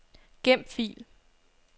Gem fil.